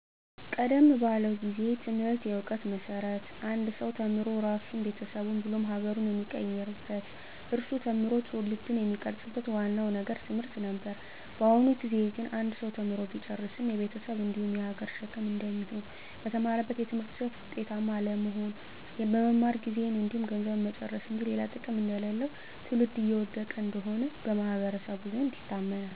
ቀደም ባለው ጊዜ ትምህርት የእውቀት መሰረት አንድ ሰው ተምሮ ራሱን ቤተሰቡን ብሎም ሀገሩን የሚቀይርበት እሱ ተምሮ ትውልድን የሚቀርፅበት ዋናው ነገር ትምህርት ነበር። በአሁኑ ጊዜ ግን አንድ ሰው ተምሮ ቢጨርስም የቤተሰብ እንዲሁም የሀገር ሸክም እንደሚሆን፣ በተማረበት የትምህርት ዘርፍ ውጤታማ አለመሆን፣ መማር ጊዜን እንዲሁም ገንዘብን መጨረስ እንጂ ሌላ ጥቅም እንደሌለው ትውልድ እየወደቀ እንደሆነ በማህበረሰቡ ዘንድ ይታመናል።